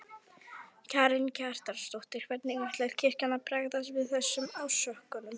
Karen Kjartansdóttir: Hvernig ætlar kirkjan að bregðast við þessum ásökunum?